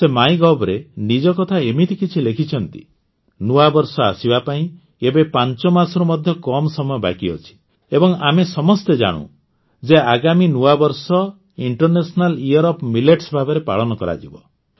ସେ ମାଇଗଭରେ ନିଜ କଥା ଏମିତି କିଛି ଲେଖିଛନ୍ତି ନୂଆ ବର୍ଷ ଆସିବା ପାଇଁ ଏବେ ୫ ମାସରୁ ମଧ୍ୟ କମ୍ ସମୟ ବାକି ଅଛି ଏବଂ ଆମ ସମସ୍ତେ ଜାଣୁ ଯେ ଆଗାମୀ ନୂଆ ବର୍ଷ ଇଂଟରନେସନାଲ୍ ଇୟର୍ ଅଫ୍ ମିଲେଟ୍ସ ଭାବରେ ପାଳନ କରାଯିବ